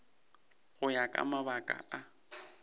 go ya ka mabaka a